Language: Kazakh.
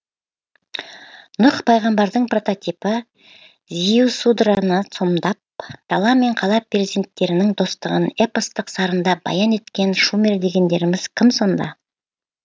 нұх пайғамбардың прототипі зиусудраны сомдап дала мен қала перзенттерінің достығын эпостық сарында баян еткен шумер дегендеріміз кім сонда